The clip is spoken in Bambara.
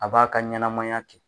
A b'a ka ɲanamaya kɛ.